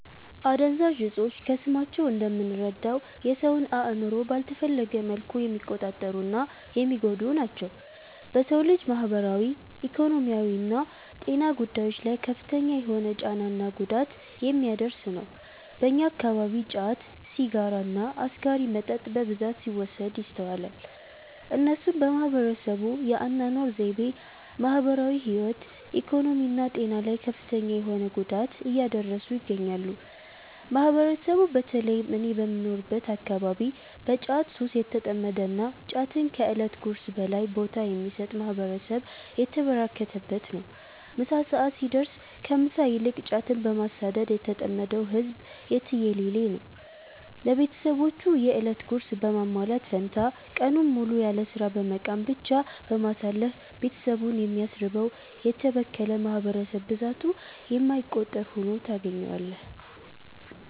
አደንዛዥ እፆች ከስማቸው እንደምንረዳው የ ሰውን አእምሮ ባልተፈለገ መልኩ የሚቆጣጠሩ እና የሚጎዱ ናቸው። በ ሰው ልጅ ማህበራዊ፣ ኢኮኖሚያዊና ጤና ጉዳዮች ላይ ከፍተኛ የሆነ ጫና እና ጉዳት የሚያደርስ ነው። በእኛ አከባቢ ጫት፣ ሲጋራ እና አስካሪ መጠጥ በብዛት ሲወሰድ ይስተዋላል። እነሱም በህብረተሰቡ የ አናኗር ዘይቤ፣ ማህበራዊ ህይወት፣ ኢኮኖሚ እና ጤና ላይ ከፍተኛ የሆነ ጉዳት እያደረሱ ይገኛሉ። ማህበረሰቡ በ ተለይም እኔ በምኖርበት አከባቢ በ ጫት ሱስ የተጠመደ እና ጫትን ከ እለት ጉርሱ በላይ ቦታ የሚሰጥ ማህበረሰብ የተበራከተበት ነው። ምሳ ሰዐት ሲደርስ ከ ምሳ ይልቅ ጫትን በማሳደድ የተጠመደው ህዝብ የትየለሌ ነው። ለቤትሰቦቹ የ እለት ጉርስ በማሟላት ፈንታ ቀኑን ሙሉ ያለስራ በመቃም ብቻ በማሳለፍ ቤትሰቡን የሚያስርበው: የተበከለ ማህበረሰብ ብዛቱ የማይቆጠር ሁኖ ታገኛዋለህ።